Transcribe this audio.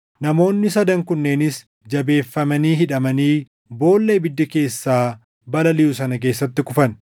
namoonni sadan kunneenis jabeeffamanii hidhamanii boolla ibiddi keessaa balaliʼu sana keessatti kufan.